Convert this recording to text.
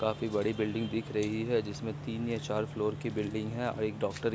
काफी बड़ी बिल्डिंग दिख रही है जिसमें तीन या चार फ्लोर की बिल्डिंग है और एक डॉक्टर की --